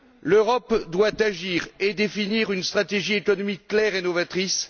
L'Europe doit agir et définir une stratégie économique claire et novatrice.